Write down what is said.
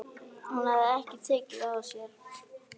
Hún hafði ekki tekið það af sér.